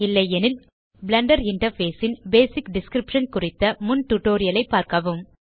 இல்லையெனில் Blender interface ன் basic description குறித்த முன் டியூட்டோரியல் ஐ பார்க்கவும்